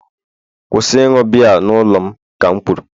kwụsị ịṅụ biya n'ụlọ m ka m kwuru!